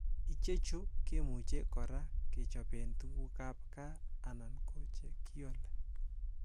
Ichechu kemuche kora kechoben tuguk ab gaa anan ko che kiolee.